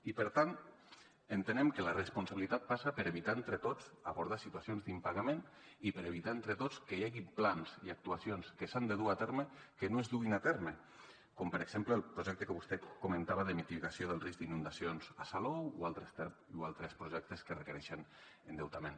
i per tant entenem que la responsabilitat passa per evitar entre tots abordar situacions d’impagament i per evitar entre tots que hi hagi plans i actuacions que s’han de dur a terme que no es duguin a terme com per exemple el projecte que vostè comentava de mitigació del risc d’inundacions a salou o altres projectes que requereixen endeutament